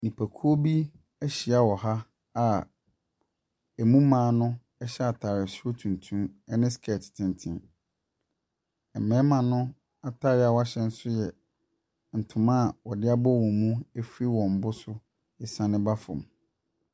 Nnipakuo bi ahyia wɔ ha a mu mmaa no hyɛ atade soro tuntum ne skirt tenten. Mmarima no atare a wɔahyɛ nso yɛ ntoma a wɔde abɔ wɔn mu afiri wɔn bo so siane ba fam.